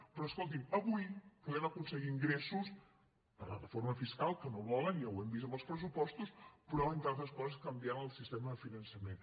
però escoltin avui podem aconseguir ingressos per la reforma fiscal que no volen ja ho hem vist amb els pressupostos però entre altres coses canviant el sistema de finançament